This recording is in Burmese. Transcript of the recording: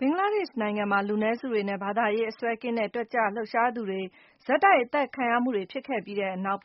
ဘင်္ဂလားဒေ့ရှ်နိုင်ငံမှာ လူနည်းစုတွေနဲ့ ဘာသာရေးအစွဲကင်းတဲ့ တက်ကြွလှုပ်ရှားသူတွေ ဆက်တိုက် အသတ်ခံရမှုတွေ ဖြစ်ခဲ့ပြီးတဲ့နောက်